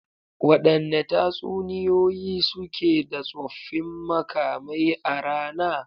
Wadanne tatsuniyoyi suke da tsoffin makamai a rana?